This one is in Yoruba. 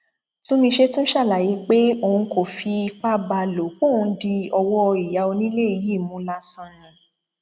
túnmíṣe tún ṣàlàyé pé òun kò fipá bá a lò pọ òun di ọwọ ìyá onílé yìí mú lásán ni